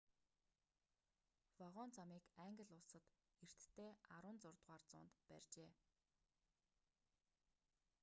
вагон замыг англи улсад эртдээ 16-р зуунд барьжээ